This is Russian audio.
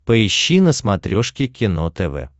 поищи на смотрешке кино тв